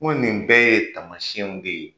Ko nin bɛɛ ye taamasiyɛnw de ye.